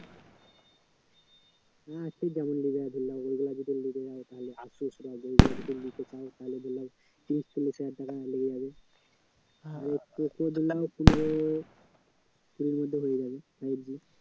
চোদ্দো পনেরো ওর মধ্যে হয়ে যাবে